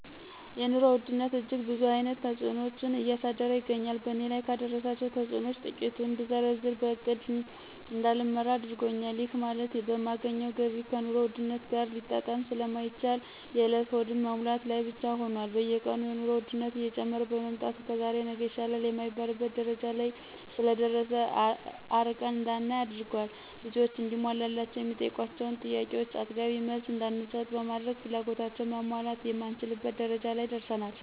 የኑሮ ውድነት እጅግ ብዙ አይነት ተጽኖዎችን እያደረሰ ይገኛል በእኔ ላይ ካደረሳቸው ተጽኖዎች ትቂቱን ብዘረዝር በእቅድ እዳልመራ አድርጎኛል ይህ ማለት የማገኘው ገቢ ከኑሮ ውድነት ጋር ሊጣጣም ስለማይችል የእለት ሆድን መሙላት ላይ ብቻ ሁኖል። በየቀኑ የኑሮ ወድነት እየጨመረ በመምጣቱ ከዛሬ ነገ ይሻላል የማይባልበት ደረጃ ስለደረሰ አርቀን እዳናይ አድርጓል። ልጆች እንዲሟላላቸው የሚጠይቋቸውን ጥያቄዎቾ አጥጋቢ መልስ እዳንሰጥ በማድረግ ፍላጎታቸውን ማሟላት የማንችልበት ደረጃ ላይ ደርሰናል።